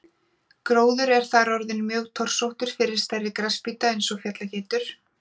Gróður er þar orðinn mjög torsóttur fyrir stærri grasbíta eins og fjallageitur.